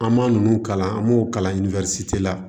An ma ninnu kalan an b'o kalan la